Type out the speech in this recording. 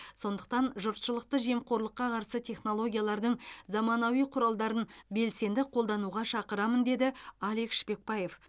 сондықтан жұртшылықты жемқорлыққа қарсы технологиялардың заманауи құралдарын белсенді қолдануға шақырамын деді алек шпекбаев